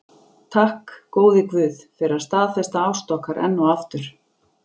Takk, góði guð, fyrir að staðfesta ást okkar enn og aftur.